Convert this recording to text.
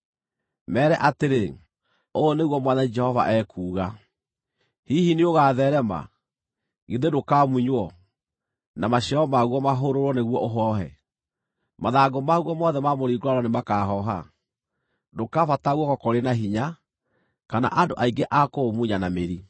“Meere atĩrĩ, ‘Ũũ nĩguo Mwathani Jehova ekuuga: Hihi nĩũgatheerema? Githĩ ndũkamunywo, na maciaro maguo mahũrũrwo nĩguo ũhoohe? Mathangũ maguo mothe ma mũringũrano nĩmakahooha. Ndũkabatara guoko kũrĩ na hinya, kana andũ aingĩ a kũũmunya na mĩri.